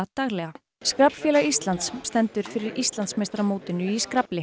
daglega skraflfélag Íslands stendur fyrir Íslandsmeistaramótinu í